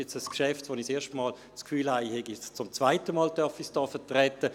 Bei diesem Geschäft habe ich das Gefühl, ich dürfe es hier zum zweiten Mal vertreten.